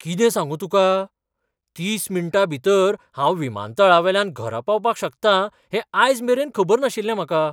कितें सांगू तुका! तीस मिनटां भितर हांव विमानतळावेल्यान घरा पावपाक शकता हें आयज मेरेन खबर नाशिल्लें म्हाका.